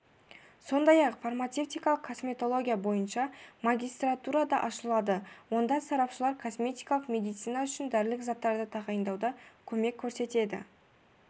сондай-ақ фармацевтикалық косметология бойынша магистратура ашылады онда сарапшылар косметикалық медицина үшін дәрілік заттарды тағайындауда көмек көрсетеді